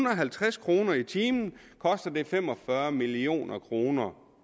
og halvtreds kroner i timen koster fem og fyrre million kroner